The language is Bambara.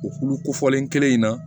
O kulu kofɔlen kelen in na